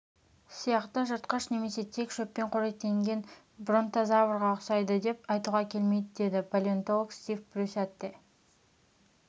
сияқты жыртқыш немесе тек шөппен қоректенген бронтозаврға ұқсайды деп айтуға келмейді деді палеонтолог стив брюсатте